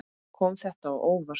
Kom þetta á óvart?